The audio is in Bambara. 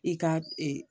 I ka ee